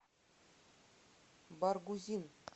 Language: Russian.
баргузин